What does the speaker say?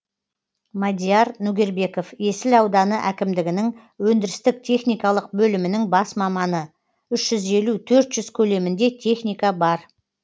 мадияр нөгербеков есіл ауданы әкімдігінің өндірістік техникалық бөлімінің бас маманы үш жүз елу төрт жүз көлемінде техника бар